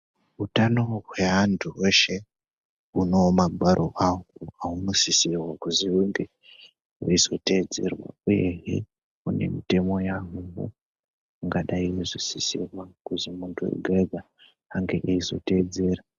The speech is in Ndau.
Hutano hweantu hweshe hune magwaro hwawo waunosisirwa kuti unge weizotedzerwa uye une mutemo wahwo ungadai weisisa kuti muntu wega wega ange eizotedzera.